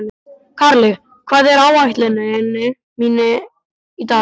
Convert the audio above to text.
Karli, hvað er á áætluninni minni í dag?